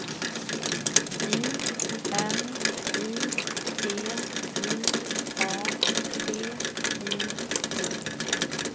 I N I T I A T I V